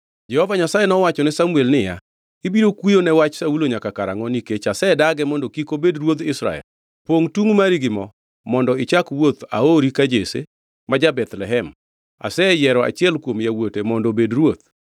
Jehova Nyasaye nowachone Samuel niya, “Ibiro kuyo ne wach Saulo nyaka karangʼo nikech asedage mondo kik obed ruodh Israel? Pongʼ tungʼ mari gi mo mondo ichak wuoth; aori ka Jesse ma ja-Bethlehem. Aseyiero achiel kuom yawuote mondo obed ruoth.”